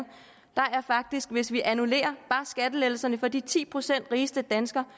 hvis vi annullerer skattelettelserne for bare de ti procent rigeste danskere